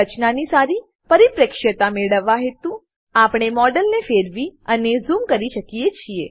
રચનાની સારી પરિપ્રેક્ષ્યતા મેળવવા હેતુ આપણે મોડેલને ફેરવી અને ઝૂમ કરી શકીએ છીએ